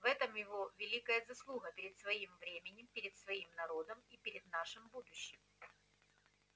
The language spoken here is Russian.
в этом его великая заслуга перед своим временем перед своим народом и перед нашим будущим